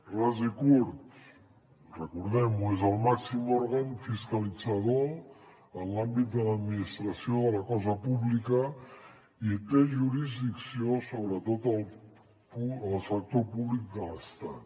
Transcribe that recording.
ras i curt recordem ho és el màxim òrgan fiscalitzador en l’àmbit de l’administració de la cosa pública i té jurisdicció sobre tot el sector públic de l’estat